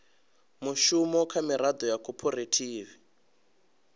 mushumo kha miraḓo ya khophorethivi